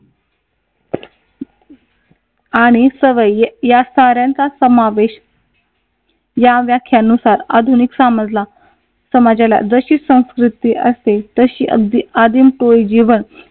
आणि सवयी या साऱ्यांचा समावेश या व्याख्यानुसार आधुनिक समजला समाजाला जशी संस्कृती असते तशी अगदी जीवन